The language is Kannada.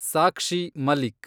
ಸಾಕ್ಷಿ ಮಲಿಕ್